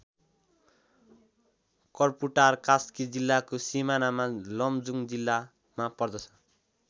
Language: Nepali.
कर्पुटार कास्की जिल्लाको सिमानामा लमजुङ जिल्लामा पर्दछ।